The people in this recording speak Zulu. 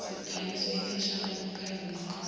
sikhangiso ipheshana lokukhangisa